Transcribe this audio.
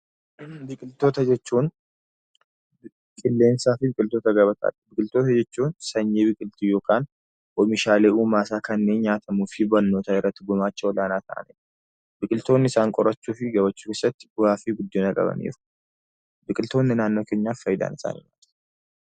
Biqiloota jechuun qilleensa, sanyii biqiltuu uumaa isaa kanneen nyaatamuu fi qorannoo irratti gumaacha olaanaa qaban; biqiltoonnii isaan qorachuu keessatti bu'aa guddaa qabaataniiru. Biqiltoonni naannoo keenyaaf faayidaan isaanii maal?